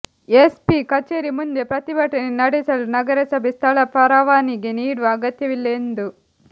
SP ಕಚೇರಿ ಮುಂದೆ ಪ್ರತಿಭಟನೆ ನಡೆಸಲು ನಗರಸಭೆ ಸ್ಥಳ ಪರವಾನಿಗೆ ನೀಡುವ ಅಗತ್ಯವಿಲ್ಲ ಎಂದು